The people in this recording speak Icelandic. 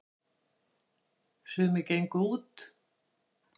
sumir gengu út